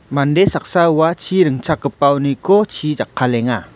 mande saksa ua chi ringchakgipaoniko chi jakkalenga.